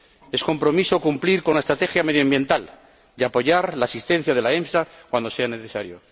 Es compromiso cumplir con la estrategia medioambiental y apoyar la asistencia de la EMSA cuando sea necesario.